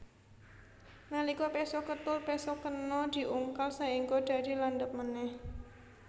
Nalika péso kethul péso kena diungkal saéngga dadi landhep manèh